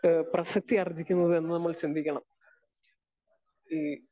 Speaker 2 ഏഹ് പ്രസ്സക്തിയാർജിക്കുന്നതെന്ന് നമ്മൾ ചിന്തിക്കണം. ഈ